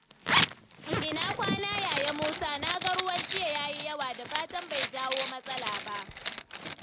Ina kwana, Yaya Musa? Na ga ruwan jiya ya yi yawa. Da fatan bai jawo matsala ba?